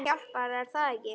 Það hjálpar er það ekki?